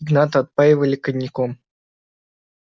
игната отпаивали коньяком